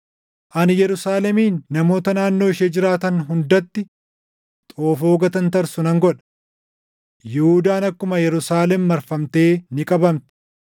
“Ani Yerusaalemin namoota naannoo ishee jiraatan hundatti xoofoo gatantarsu nan godha. Yihuudaan akkuma Yerusaalem marfamtee ni qabamti.